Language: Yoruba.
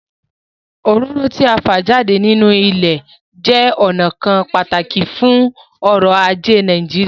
Òróró tí à ń fa jáde nínú ilẹ̀ jẹ́ ọnà kan pàtàkì fún ọ̀rọ̀ ajé Nàìjíríà